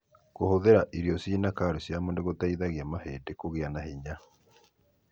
Kũhũthĩra irio cĩina kalsiamu nĩgũteithagia mahĩndĩ kũgĩa na hinya.